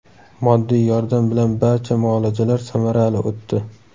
Moddiy yordam bilan barcha muolajalar samarali o‘tdi.